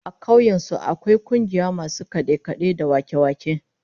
A kauyen su akwai kungiyar masu kade-kade da wake-wake